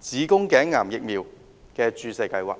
子宮頸癌疫苗的注射計劃。